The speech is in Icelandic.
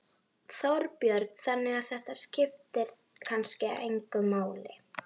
Þorbjörn: Þannig að þetta skiptir kannski engu máli?